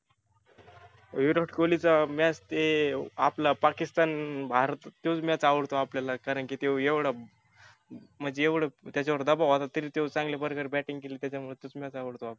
विराट कोल्हीचा match ते आपला पाकिस्तान भारत तोच match आवडतो आपल्याला. कारण की त्यो एवढा म्हणजी एवढ त्याच्यावर दबाव होता तरी त्यो चांगल्या प्रकारे batting केली त्याच्यामुळ तोच match आवडतो आपल्याला.